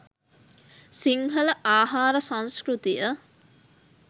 සිංහල ආහාර සංස්කෘතිය